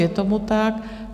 Je tomu tak.